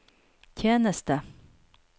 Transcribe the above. tjeneste